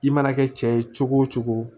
I mana kɛ cɛ ye cogo o cogo